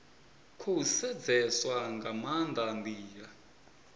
khou sedzeswa nga maanda ndila